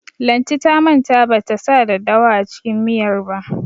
Lanti ta manta ban ta sa daddawa a cikin miyar ba.